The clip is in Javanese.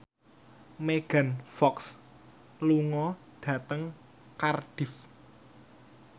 Megan Fox lunga dhateng Cardiff